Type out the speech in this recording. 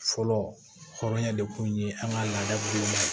Fɔlɔ hɔrɔnya de kun ye an ka laadala ye